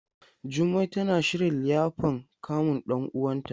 Jummai tana shirin liyafan kamun ɗan uwanta.